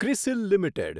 CRISIL limited